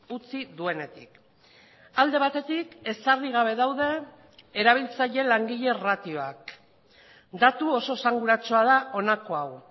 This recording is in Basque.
utzi duenetik alde batetik ezarri gabe daude erabiltzaile langile ratioak datu oso esanguratsua da honako hau